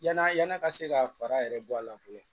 Yala yann'a ka se ka fara yɛrɛ bɔ a la fɔlɔ